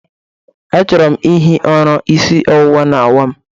Achọrọ m ihi ụra, isi ọwụwa na-awa m